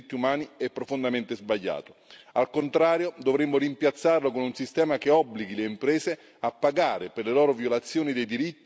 Al contrario, dovremmo rimpiazzarlo con un sistema che obblighi le imprese a pagare per le loro violazioni dei diritti e dell'ambiente, e da subito.